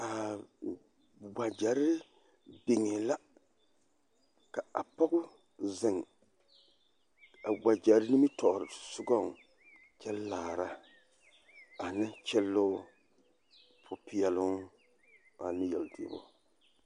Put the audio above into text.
Aa! wakyɛree biŋee la ka a poge zeŋ a wakyɛree nimitɔɔrea sɔŋɔŋ kyɛ laara ane kyelɔɔ popeɛloo ane yeltuo.